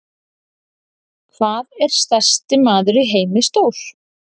Hvað er stærsti maður í heimi stór?